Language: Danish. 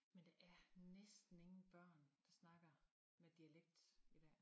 Men det er næsten ingen børn der snakker med dialekt